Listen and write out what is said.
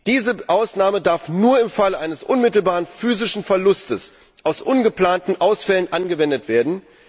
Diese Ausnahme darf nur im Fall eines unmittelbaren physischen Verlustes aus ungeplanten Ausfällen angewendet werden.